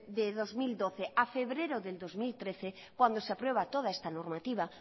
de dos mil doce a febrero de dos mil trece cuando se aprueba toda esta normativa